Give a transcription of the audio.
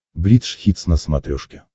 бридж хитс на смотрешке